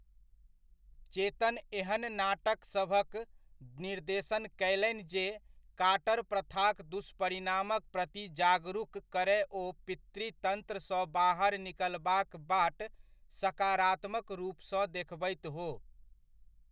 चेतन एहन नाटकसभक निर्देशन कयलनि जे काटर प्रथाक दुष्परिणामक प्रति जागरूक करय ओ पितृतन्त्रसँ बाहर निकलबाक बाट सकारात्मक रूपसँ देखबैत हो।